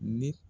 Ni